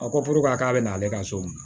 A ko ko k'a k'a bɛ na ale ka so minɛ